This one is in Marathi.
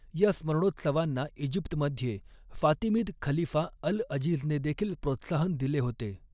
या स्मरणोत्सवांना इजिप्तमध्ये फातिमिद खलीफा अल अजीझने देखील प्रोत्साहन दिले होते.